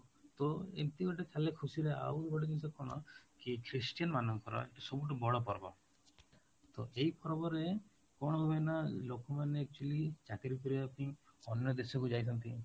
ତ ଏମିତି ଗୋଟେ ଚାଲେ ଖୁସିରେ, ଆଉ ଗୋଟେ ଜିନିଷ କ'ଣ କି Christian ମାନଙ୍କର ସବୁଠୁ ବଡ ପର୍ବ, ତ ଏଇ ପର୍ବରେ କଣ ହୁଏନା ଲୋକମାନେ actually ଚାକିରି କରିବା ପାଇଁ ଅନ୍ୟ ଦେଶକୁ ଯାଇଥାନ୍ତି